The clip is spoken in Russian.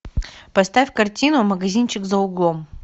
поставь картину магазинчик за углом